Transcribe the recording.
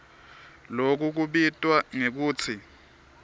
loku kubitwa ngekutsi